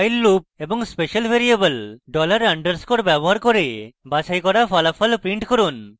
while loop এবং special variable $_ dollar underscore ব্যবহার করে বাছাই করা ফলাফল print করুন